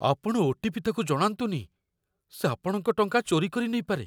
ଆପଣ ଓ.ଟି.ପି. ତା'କୁ ଜଣାନ୍ତୁନି । ସେ ଆପଣଙ୍କ ଟଙ୍କା ଚୋରି କରିନେଇପାରେ ।